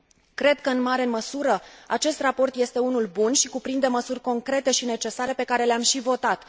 Cred că, în mare măsură, acest raport este unul bun și cuprinde măsuri concrete și necesare, pe care le am și votat.